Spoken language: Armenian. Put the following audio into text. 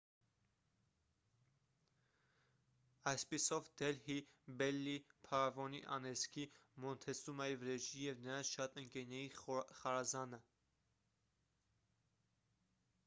այսպիսով դելհի բելլիի փարավոնի անեծքի մոնտեսումայի վրեժի և նրանց շատ ընկերների խարազանը